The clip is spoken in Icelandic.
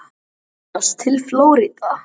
Þar voru flutt fimm lög